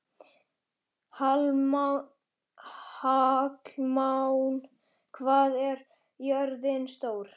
Hallmann, hvað er jörðin stór?